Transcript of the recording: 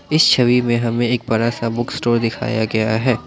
इस छवि हमें एक बड़ा सा बुक स्टोर दिखाया गया है।